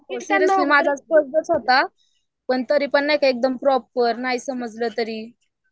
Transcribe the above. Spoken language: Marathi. नाही माझाच होता नाही नाही का आपलं नाही समजलं नाही तरी